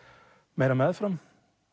meira meðfram